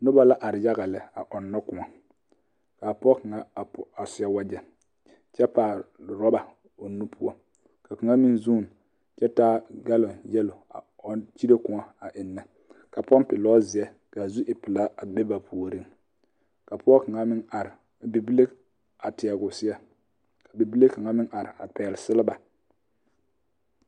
Noba la are yaga lɛ a ɔŋnɔ koɔ ka pɔge kaŋ a seɛ wagyɛ kyɛ taa rɔba o nu poɔ ka kaŋa meŋ zuun kyɛ taa galon yeloo a kyire koɔ eŋnɛ kapɔŋpiŋ lɔzeɛ kaa zu e pilaa a be ba puoriŋ ka pɔge kaŋa a meŋ are ka bibile a teɛ o seɛ kabibile kaŋa meŋ are a pɛgle selba.